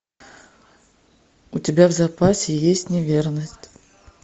у тебя в запасе есть неверность